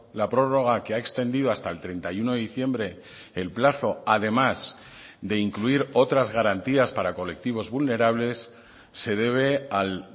la prórroga que ha extendido hasta el treinta y uno de diciembre el plazo además de incluir otras garantías para colectivos vulnerables se debe al